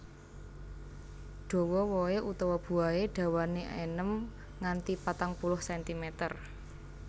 Dawa wohé utawa buahé dawané enem nganti patang puluh sentimeter